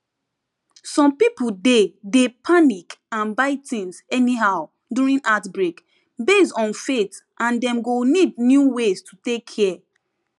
some people dey dey panic and buy things anyhow during outbreak based on faith and dem go need new way to take care